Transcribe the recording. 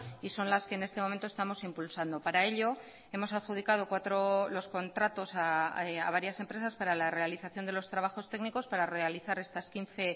y son las que en este momento estamos impulsando para ello hemos adjudicado los contratos a varias empresas para la realización de los trabajos técnicos para realizar estas quince